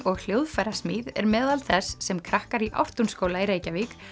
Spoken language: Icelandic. og hljóðfærasmíð er meðal þess sem krakkar í Ártúnsskóla í Reykjavík